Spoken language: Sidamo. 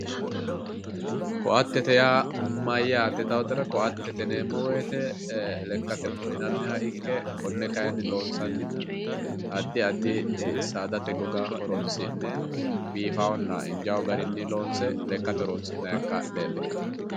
Koattete yaa mayyaate yitaatera koattete yineemmo woyiite lekkate wodhinanniha ikke konne kaayiinni loonsannihu saadate goga horonsi'ne biifawoonna injaa garinni loonse lekkate horonsi'nayi koatteeti.